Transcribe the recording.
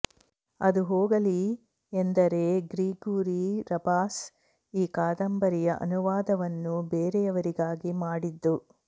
ಅದು ಹೋಗಲಿ ಎಂದರೆ ಗ್ರಿಗೊರಿ ರಬಾಸ ಈ ಕಾದಂಬರಿಯ ಅನುವಾದವನ್ನು ಬೇರೆಯವರಿಗಾಗಿ ಮಾಡಿದ್ದು